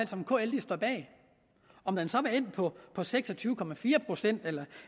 som kl står bag om den så var endt på på seks og tyve procent eller